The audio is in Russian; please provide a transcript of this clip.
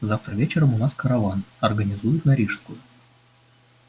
завтра вечером у нас караван организуют на рижскую